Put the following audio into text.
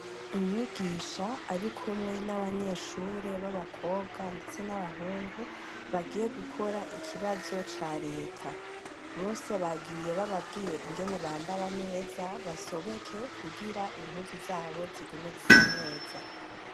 umwigisha arikumwe n'abanyeshure babakobwa ndetse n'abahungu bagiye gukora ikibazo ca reta bose bagiye bababwiye ingene bambara neza basobeke kugira impuzu zabo zigume zisa neza